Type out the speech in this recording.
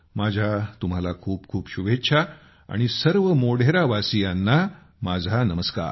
माझ्या तुम्हाला खूप खूप शुभेच्छा आणि सर्व मोढेरावासीयांना माझा नमस्कार